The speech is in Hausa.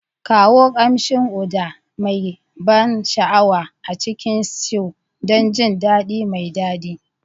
Kawo ƙamshin Uda mai ban sha'awa a cikin stews don jin daɗi mai daɗi.